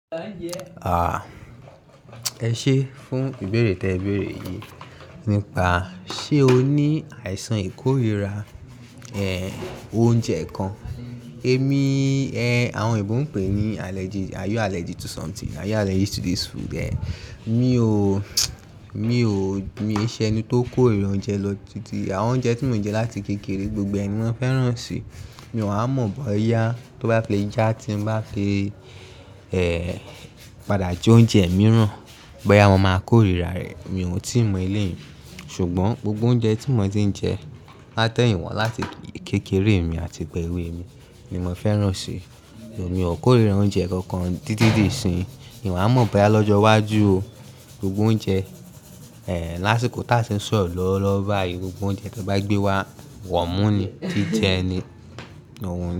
Ẹ ṣé fún ìbéèrè tí ẹ béèrè yìí. Nípa ṣé o ní àìsàn ìkórira oúnjẹ kan. Èmi, àwọn òyìnbó ń pè é ní allergy. Are you allergic to something? Are you allergic to this food? Mi ò, mi ò, mi ò ṣe ẹni tó kórira oúnjẹ lọ titi. Àwọn oúnjẹ tí mò ń jẹ láti kékeré, gbogbo ẹnì wọ́n fẹ́ràn si. Mi ò wa mọ̀ bóyá tó bá le já tí mo bá ti, padà jẹ oúnjẹ mìíràn. Bóyá wọn máa kórira rẹ. Mi ò tíì mọ ilé yìí. Ṣùgbọ́n gbogbo oúnjẹ tí mò tí ń jẹ láti eyin wa láti kékeré mi àti ìgbà ewé mi ni mò fẹ́ràn si. Mi ò kórira oúnjẹ kankan titi di isiniyi. Mi ò wa mọ̀ bóyá lọ́jọ́ iwájú o. Gbogbo oúnjẹ, lásìkò tá ṣi ń sọ̀rọ̀ lọ́wọ́ lówo bàáyì, gbogbo oúnjẹ tí wọ́n bá gbé wá, wọ̀mú ni. Jíjẹ ni.